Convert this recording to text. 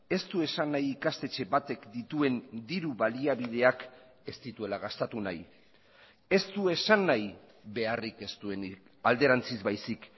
ez du esan nahi ikastetxe batek dituen diru baliabideak ez dituela gastatu nahi ez du esan nahi beharrik ez duenik alderantziz baizik